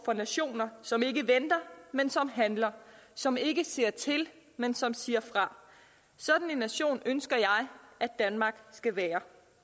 for nationer som ikke venter men som handler som ikke ser til men som siger fra sådan en nation ønsker jeg at danmark skal være